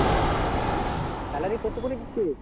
salary কত করে দিচ্ছে